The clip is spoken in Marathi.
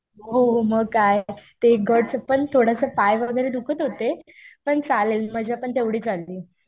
हो हो. मग काय. ते गडचं पण थोडंसं पाय वगैरे दुखत होते. पण चालेल मजा पण तेवढीच आली.